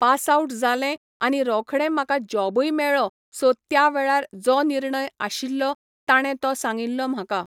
pass out जालें आनी रोखडें म्हाका जॉबय मेळ्ळो सो त्या वेळार जो निर्णय आशिल्लो तांणे तो सांगिल्लो म्हाका